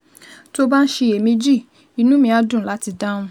Tó o bá ń ṣiyèméjì, inú mi á dùn láti dáhùn